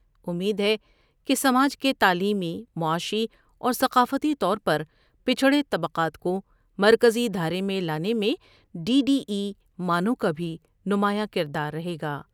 امید ہے کہ سماج کے تعلیمی، معاشی اور ثقافتی طور پر پچھڑے طبقات کو مرکزی دھارے میں لانے میں ڈی ڈی ای مانو کا بھی نمایاں کرداررہے گا۔